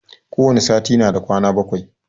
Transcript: Kowane sati na da kwana bakwai.